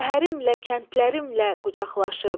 Şəhərimlə, kəndlərimlə qucaqlaşıb.